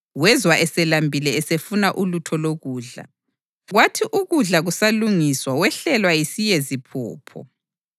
Wezwa eselambile esefuna ulutho lokudla, kwathi ukudla kusalungiswa wehlelwa yisiyeziphupho.